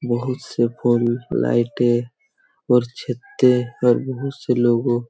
बहुत से बल्ब लाइटे और छते और बहुत से लोगो--